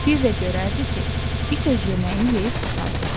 Bir də görərdi ki, it öz yeməyini yeyib qurtardı.